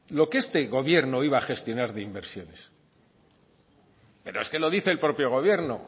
lo que este gobierno iba a gestionar de inversiones pero es que lo dice el propio gobierno